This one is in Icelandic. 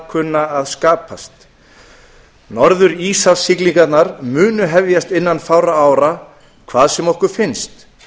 kunna að skapast norðuríshafssiglingarnar munu hefjast innan fárra ára hvað sem okkur finnst